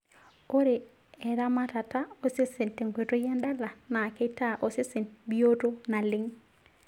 Ore eramatata osesen tenkoitoi endala naa keitaa osesen bioto naleng.